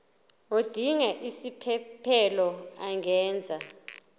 odinga isiphesphelo angenza